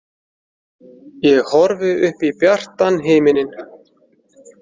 Ég horfi upp í bjartan himininn.